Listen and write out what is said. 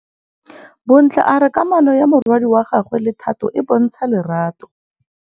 Bontle a re kamanô ya morwadi wa gagwe le Thato e bontsha lerato.